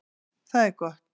Það er gott